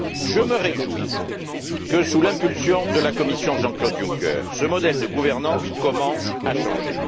Je me réjouis que, sous l'impulsion de la Commission Jean Claude Juncker, ce modèle de gouvernance commence à changer.